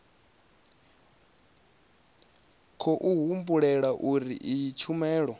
khou humbulelwa uri iyi tshumelo